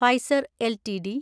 Pfizer LTD